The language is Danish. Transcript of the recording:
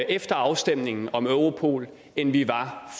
efter afstemningen om europol end vi var